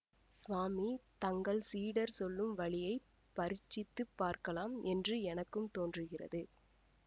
சுவாமி தங்கள் சீடர் சொல்லும் வழியை பரீட்சித்துப் பார்க்கலாம் என்று எனக்கும் தோன்றுகிறது